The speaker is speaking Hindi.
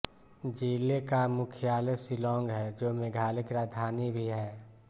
जिले का मुख्यालय शिलांग है जो मेघालय की राजधानी भी है